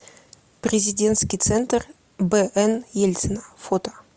президентский центр бн ельцина фото